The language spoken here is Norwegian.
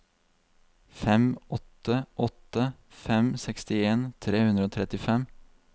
fem åtte åtte fem sekstien tre hundre og trettifem